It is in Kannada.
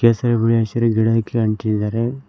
ಕೇಸರಿ ಬಿಳಿ ಹಸಿರ ಗಿಡ ಹಾಕಿ ಅಂಟಿದ್ದಾರೆ.